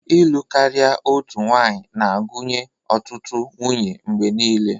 Ịlụ karia otu nwanyị na-agụnye ọtụtụ nwunye mgbe niile.